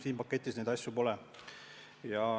Siin paketis neid asju pole.